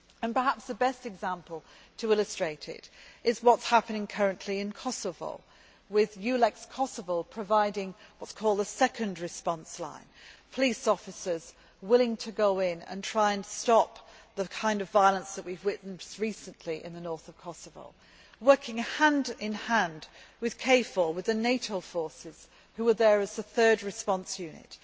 Perhaps the best example to illustrate this is what is happening currently in Kosovo, with EULEX Kosovo providing what is called the second response line police officers willing to go in to try to stop the kind of violence that we have witnessed recently in the north of Kosovo, working hand in hand with KFOR, with the NATO forces which are there as the third response unit.